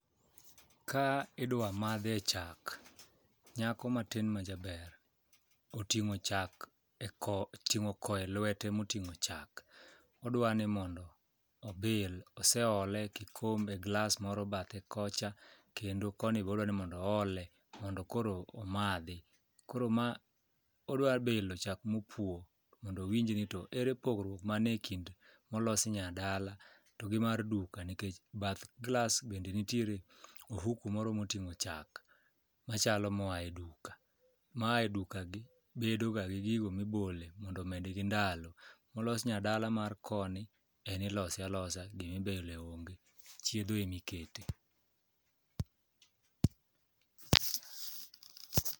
Ka idwa madhe chak, nyako matin majaber oting'o ko e lwete moting'o chak, odwa ni mondo obil, oseole kikombe glas moro bathe kocha kendo koni bodwa ni mondo oole mondo koro omadhi. Koro odwa bilo chak mopwo mondo owinj ni ere pogruok mane kind molosi nyadala to gi mar duka nikech bath glas bende nitiere ohuku moro moting'o chak machalo moa e duka, moa e dukagi bedo ga gi gigo mibole mondo omedgi ndalo. Molos nyadala mar koni en ilose alosa gimibole onge chiedho emikete.